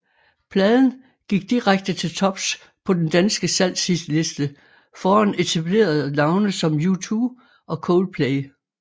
Pladen gik direkte til tops på den danske salgshitliste foran etablerede navne som U2 og Coldplay